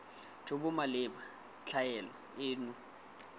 jo bo maleba tlhaelo eno